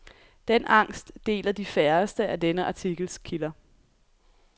Den angst deler de færreste af denne artikels kilder.